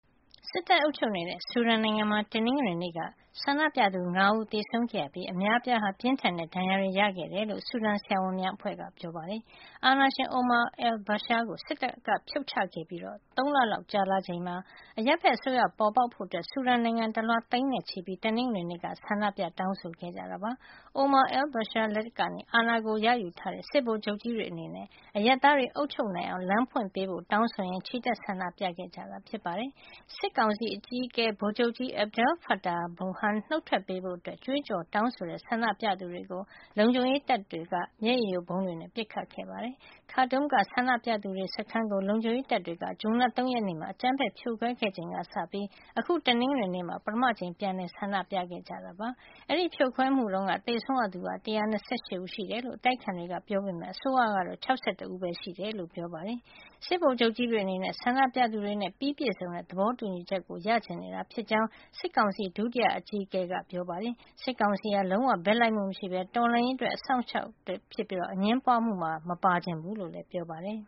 စစ်တပ်အုပ်ချုပ်နေတဲ့ ဆူဒန်နိုင်ငံမှာ တနင်္ဂနွေနေ့က ဆန္ဒပြသူ ၅ ဦး သေဆုံးခဲ့ရပြီး အများအပြားဟာ ပြင်းထန်တဲ့ ဒဏ်ရာတွေ ရခဲ့တယ်လို့ ဆူဒန် ဆရာဝန်များ အဖွဲ့က ပြောပါတယ်။ အာဏာရှင် Omar al-Bashir ကိုစစ်တပ်က ဖြုတ်ချခဲ့ပြီး ၃လ လောက် ကြာလာချိန်မှာ အရပ်ဖက်အစိုးရ ပေါ်ပေါက်ဖို့ ဆူဒန်နိုင်ငံတလွှား သိန်းနဲ့ချီပြီး တနင်္ဂနွေနေ့က ဆန္ဒပြ တောင်းဆိုခဲ့ကြတာပါ။ Omar al-Bashir လက်ကနေ အာဏာကို ရယူထားတဲ့ စစ်ဗိုလ်ချုပ်ကြီးတွေ အနေနဲ့ အရပ်သားတွေ အုပ်ချုပ်နိုင်အောင် လမ်းဖွင့်ပေးဖို့ တောင်းဆိုရင်း ချီတက်ဆန္ဒပြ ခဲ့ကြတာ ဖြစ်ပါတယ်။ စစ်ကောင်စီအကြီးအကဲ ဗိုလ်ချုပ်ကြီး Abdel-Fattah Burhan နုတ်ထွက်ပေးဖို့ ကြွေးကျော်တောင်းဆိုကြတဲ့ ဆန္ဒပြသူတွေကို လုံခြုံရေး တပ်တွေက မျက်ရည်ယိုဗုံးတွေနဲ့ ပစ်ခတ်ခဲ့ပါတယ်။ Khartoum က ဆန္ဒပြသူတွေရဲ့ စခန်းကို လုံခြုံရေးတပ်တွေက ဇွန်လ ၃ ရက်နေ့မှာ အကြမ်းဖက်ဖြိုခွဲခဲ့ ချိန်ကစပြီး အခု တနင်္ဂနွေနေ့မှာ ပထမအကြိမ် အဖြစ် ပြန်လည် ဆန္ဒပြခဲ့ကြတာ ဖြစ်ပါတယ်။ အဲဒီဖြိုခွဲမှုတုန်းက သေဆုံးရသူ ၁၂၈ ဦး ရှိတယ်လို့ အတိုက်အခံ တွေက ပြောပေမယ့် အစိုးရကတော့ ၆၁ ဦးပဲ ရှိတယ်လို့ ပြောပါတယ်။ စစ်ဗိုလ်ချုပ်ကြီးတွေ အနေနဲ့ ဆန္ဒပြသူတွေနဲ့ ပြီးပြည့်စုံတဲ့ သဘောတူညီချက်ကို ရချင်နေတာ ဖြစ်ကြောင်း စစ်ကောင်စီ ဒုတိယ အကြီးအကဲ ဗိုလ်ချုပ်ကြီး Mohamed Hamdan Dagalo ကပြောပါတယ်။ စစ်ကောင်စီဟာ လုံးဝ ဘက်လိုက်မှု မရှိပဲ တော်လှန်ရေးအတွက် အစောင့်အရှောက်တွေသာ ဖြစ်ပြီး အငြင်းပွါးမှုမှာ မပါချင်ဘူးလို့လည်း ပြောပါတယ်